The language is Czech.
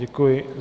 Děkuji.